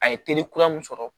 A ye teri kura mun sɔrɔ